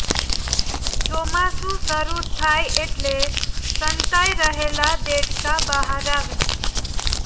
ચોમાસું શરૂ થાય એટલે સંતાઈ રહેલાં દેડકાં બહાર આવે